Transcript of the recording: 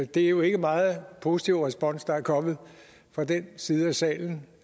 det er jo ikke meget positiv respons der er kommet fra den side af salen